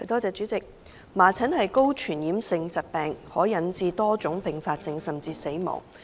主席，麻疹是高傳染性疾病，可引致多種併發症甚至死亡。